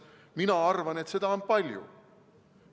Mina arvan, et seda on palju.